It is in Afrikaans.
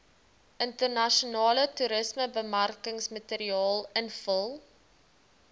internasionale toerismebemarkingsmateriaal invul